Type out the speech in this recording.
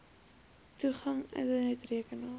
toegang internet rekenaar